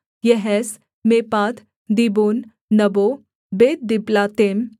दीबोन नबो बेतदिबलातैम